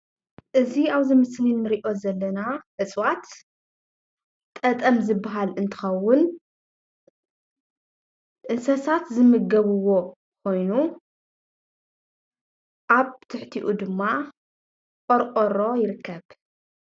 እዚ ኣብዚ ምስሊ እንሪኦ ዘለና እፅዋት ጠጠም ዝብሃል እንትኸውን እንስሳት ዝምገብዎ ኮይኑ ኣብ ትሕቲኡ ድማ ቆርቆሮ ይርከብ፡፡